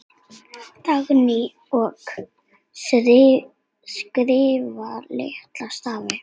Dagný: Og skrifa litla stafi.